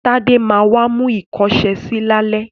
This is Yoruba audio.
Tádé ma wá mú ìkọ́ṣẹsì lálẹ́.